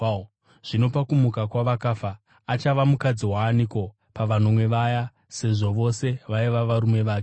Zvino pakumuka kwavakafa, achava mukadzi waaniko pavanomwe vaya sezvo vose vaiva varume vake?”